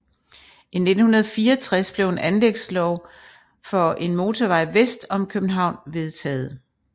I 1964 blev en anlægslov for En motorvej vest om København vedtaget